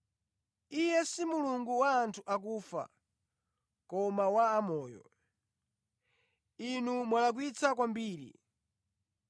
Iye si Mulungu wa anthu akufa, koma wa amoyo. Inu mwalakwitsa kwambiri!”